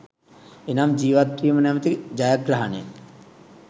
එනම් ජීවත්වීම නමැති ජයග්‍රහණය